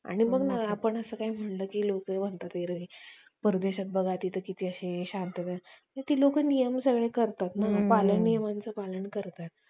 आपल्याला ते शिकाला भेटत पण आता तस राहिलं नाही आता youtube च्या साहाय्याने आपल्याला भरपुर काही आह म्हणजे शिकाला पण भेटत आणि आपण ज्या वेळेस रिकामे असें त्या वेळेस आपले entertainment पण होत मला असं वाटत